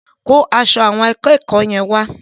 Kó aṣọ àwọn akẹ́kọ̀ọ́ yẹn wá.